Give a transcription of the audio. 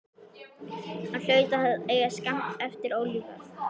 Hann hlaut að eiga skammt eftir ólifað.